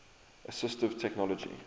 assistive technology